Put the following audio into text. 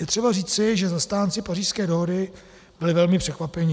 Je třeba říci, že zastánci Pařížské dohody byli velmi překvapeni.